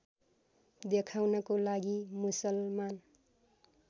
देखाउनको लागि मुसलमान